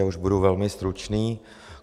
Já už budu velmi stručný.